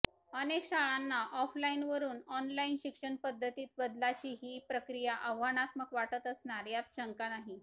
अनेक शाळांना ऑफलाइनवरून ऑनलाइन शिक्षण पद्धतीत बदलाची ही प्रक्रिया आव्हानात्मक वाटत असणार यात शंका नाही